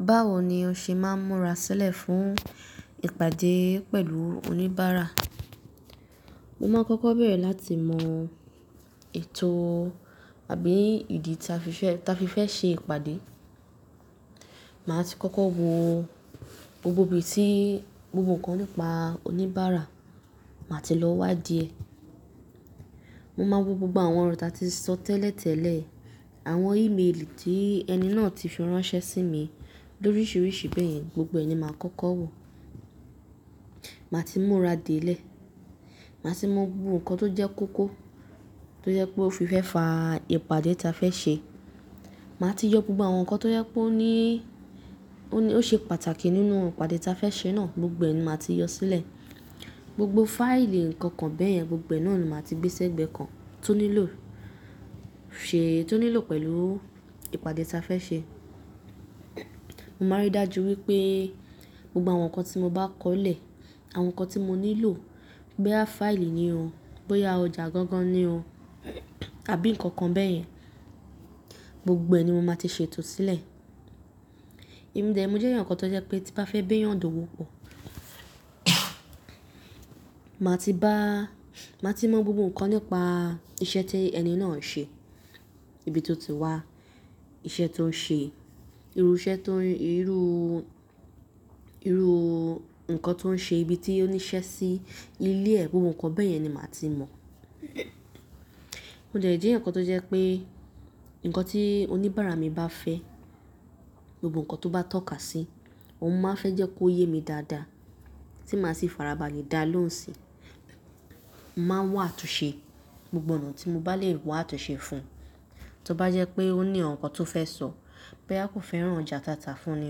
Báwo ni o ṣe máa ń múra sílẹ̀ fún ìpàdé pẹ̀lú oníbàárà? Mo máa ń kọ́kọ́ bẹ̀rẹ̀ láti mọ ètò àbí ìdí ta fi fẹ́, ta fi fẹ́ ṣe ìpàdé. Màá ti kọ́kọ́ wo gbogbo ibi tí gbogbo ǹkan nípa oníbàárà, màá ti lọ wádìí ẹ. Mo máa wo gbogbo àwọn ọ̀rọ̀ ta ti sọ tẹ́lẹ̀tẹ́lẹ̀, àwọn ímeèlì tí ẹni náà ti fi ránṣẹ́ sí mi, lóríṣiríṣi bẹ́ẹ̀, gbogbo ẹ̀ ni màá kọ́kọ́ wò. Màá ti múra dé ilẹ̀, màá ti mọ gbogbo ǹkan tó jẹ́ kókó, tó jẹ́ pé ó fi fẹ́ fa ìpàdé ta fẹ́ ṣe. Màá ti yọ gbogbo àwọn ǹkan tó jẹ́ pé ó ní, ó ní, ó ṣe pàtàkì nínú ìpàdé ta fẹ́ ṣe náà, gbogbo ẹ̀ ni màá ti yọ sílẹ̀. Gbogbo fáìlì ǹkan kan bẹ́ẹ̀, gbogbo náà ni màá ti gbé ṣẹ́gbẹ́ kan tó nílò, ṣe é, tó nílò pẹ̀lú ìpàdé ta fẹ́ ṣe. Mo máa rí dájú wípé gbogbo àwọn ǹkan tí mo bá kọlẹ̀, àwọn ǹkan tí mo nílò, bóyá fáìlì ni o, bóyá ọjà gangan ni o àbí ǹkan kan bẹ́ẹ̀ yẹn, gbogbo ẹ̀ ni mo máa ti ṣètò sílẹ̀. Emi dẹ̀ mo jẹ́ eeyan kan tó jẹ́ pé tí bá fẹ́ b'éèyàn do wópọ̀, màá ti bá, màá ti mọ gbogbo ǹkan nípa iṣẹ́ tí ẹni náà ń ṣe, ibi tó ti wá, iṣẹ́ tó ń ṣe, irú iṣẹ́ tó ń, irú, irú ǹkan tó ń ṣe, ibi tí ó níṣẹ́ sí, ilé ẹ, gbogbo ǹkan bẹ́ẹ̀ yẹn ni màá ti mọ̀. Mo de jẹ́ ẹ̀eyan kan tó jẹ́ pé ǹkan tí oníbàárà mi bá fẹ́, gbogbo ǹkan tó bá tọ́ka sí, òun máa fẹ́ jẹ́ kó yé mi dáadáa, tí màá sì fara balẹ̀ dáa lóhùn síi. Màá n wá àtúnṣe gbogbo ọ̀nà tí mo bá lè wo àtúnṣe fún un. Tí ó bá jẹ́ pé ó ní àwọn ǹkan tó fẹ́ sọ, bóyá kò fẹ́ràn ọjà tata fún ni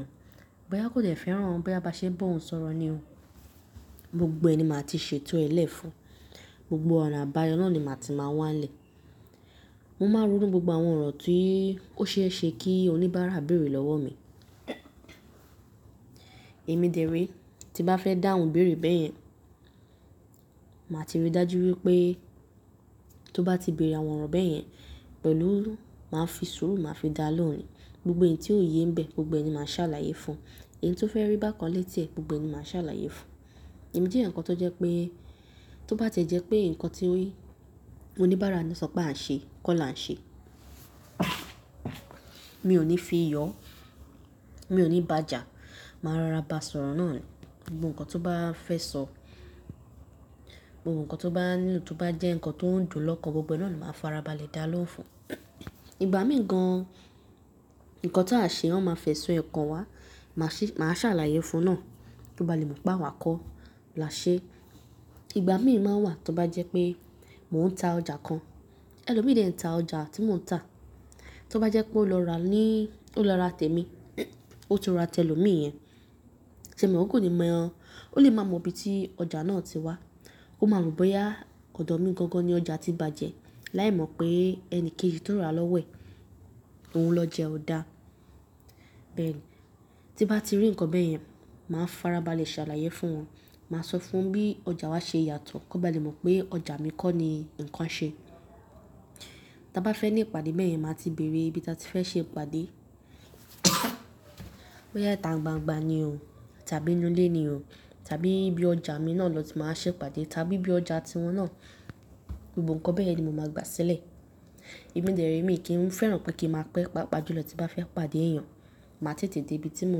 o, bóyá kò dè fẹ́ràn bóyá bá ṣe bọ̀ ohun sọ̀rọ̀ ni o. Gbogbo ẹ̀ ni màá ti ṣètò ẹlẹ̀ fún un. Gbogbo ọ̀nà àbáyọ náà ni màá ti máa wá ń lẹ̀. Mo máa ronú gbogbo àwọn ọ̀rọ̀ tí ó ṣe é ṣe kí oníbàárà bèrè lọ́wọ́ mi. Èmi dẹ̀ẹ̀rẹ, tí bá fẹ́ dá òun bèrè bẹ́ẹ̀ yẹn, màá ti rí dájú wípé tó bá ti bèrè àwọn ọ̀rọ̀ bẹ́ẹ̀ yẹn pẹ̀lú, màá fi sùúrù, màá fi dá lóhùn ni. Gbogbo èyí tí ó yé ń bẹ, gbogbo ẹ̀ ni màá ṣàlàyé fún un. Èyí tó fẹ́ rí bàkanlẹ̀ tí ẹ̀, gbogbo ẹ́ ni màá ṣàlàyé fún un. Emi je eeyan kan tó jẹ́ pé tó bá tẹ́ jẹ́ pé ǹkan tí oníbàárà náà sọ pé à ń ṣe, kó là ń ṣe. Mi ò ní fi yọ, mi ò ní bàjà, màá rọra bá sọ̀rọ̀ náà ni. Gbogbo ǹkan tó bá fẹ́ sọ, gbogbo ǹkan tó bá nílò, tó bá jẹ́ ǹkan tó ń dùn lọ́kàn, gbogbo náà ni màá fara balẹ̀ dáa lóhùn fún un. Ìgbà mìí gan, ǹkan tí a ṣe wọn máa fẹ́ sun ẹ̀ kọ̀n wá, màá ṣí, màá ṣàlàyé fún un náà kí ó bá lè mọ̀ pé àwa kọ́ là ṣe é. Ìgbà mìí máa ń wà tí ó bá jẹ́ pé mò ń ta ọjà kan, ẹlòmíìdẹ̀ ń ta ọjà tí mò ń ta, tí ó bá jẹ́ pé ó lọ rà ní, ó lọ rà tẹ mi, ó tún rà tẹ ẹlòmíìyẹn, ṣèyẹ́n òun kò ní mọ̀ o. Ó lè máa mọ ibi tí ọjà náà ti wá, ó máa mọ̀ bóyá ọ̀dọ̀ mi gangan ni ọjà ti bàjẹ́, láì mọ̀ pé ẹni kejì tó rà lọ́wo ẹ̀ òun lọ oja e ọ̀dà. Bẹ́ẹ̀ ni, tí bá ti rí ǹkan bẹ́ẹ̀ yẹn, màá fara balẹ̀ ṣàlàyé fún wọn. Màá sọ fún wọn bí ọjà wa ṣe yàtọ̀, kí wọ́n bá lè mọ̀ pé ọjà mi kọ́ ni ǹkan ṣe. Tí a bá fẹ́ ní ìpàdé bẹ́ẹ̀ yẹn, màá ti bèrè ibi tí a ti fẹ́ ṣe ìpàdé, bóyá ita ń gbangba ni o tàbí nínú ilé ni o tàbí bí ọjà mi náà lọ ti màá ṣe ìpàdé tàbí bí ọjà tí wọn náà, gbogbo ǹkan bẹ́ẹ̀ ni mo máa gbà sílẹ̀. Emi deerẹ mi kì í fẹ́ràn pé kí n máa pẹ́, pa'pa jùlọ tí bá fẹ́ pàdé èèyàn. Màá tètè dé ibi tí mò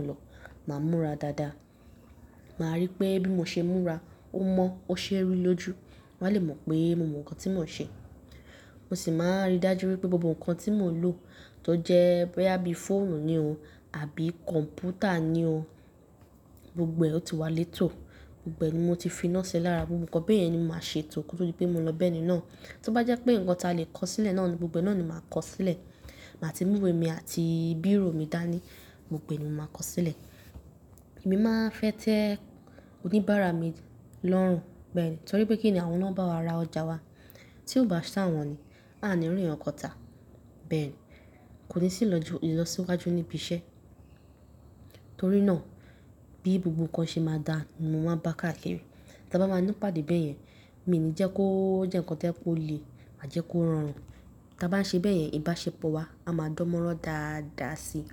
ń lọ, màá múra dáadáa. Màá rí pé bí mo ṣe ń múra, ó mọ̀, ó ṣé ẹri lójú. Wọ́n á lè mọ̀ pé mo mọ ǹkan tí mò ń ṣe. Mo sì máa rí dájú wípé gbogbo ǹkan tí mò ń lò tó jẹ́ bóyá bí fóònù ni o àbí kọ̀m̀pútà ni o, gbogbo ẹ́ ó ti wà létò. Gbogbo ẹ́ ni mo ti fi iná ṣe lára, gbogbo ǹkan bẹ́ẹ̀ ni mo máa ṣe tò ko to di pé mo lọ bẹ́ẹ̀ ni náà. Tí ó bá jẹ́ pé ǹkan ta lè kọ sílẹ̀ náà ni, gbogbo náà ni màá kọ sílẹ̀. Màá ti mú ìwé mi àti bírò mi dání, gbogbo ẹ́ ni mo máa kọ sílẹ̀. Èmi máa fẹ́ tẹ oníbàárà mi lọ́run bẹ́ẹ̀ ni torí pé kí ni àwọn náà bá wa ra ọjà wa? Tí ó bá ṣà wọ́n ni, a ò ní rí ǹkankan ta. Bẹ́ẹ̀ ni, kò ní sì lọjú, ìlọsíwájú níbi iṣẹ́. Nítorí náà bí gbogbo ǹkan ṣe máa dáa, ni mo máa bá a ká kiri. Tí a bá máa ní ìpàdé bẹ́ẹ̀ yẹn, mi ò ní jẹ́ kó jẹ́ ǹkan tó lè má jẹ́ kó rọrùn. Tí a bá ń ṣe bẹ́ẹ̀ yẹn, ìbáṣepọ̀ wa á ma dánmọ́rán dáadáa síi.